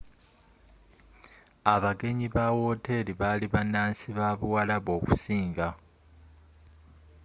abagenyi ba wooteri bali bannansi babuwarabu okusinga